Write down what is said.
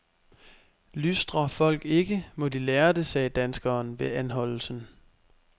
Lystrer folk ikke, må de lære det, sagde danskeren ved anholdelsen.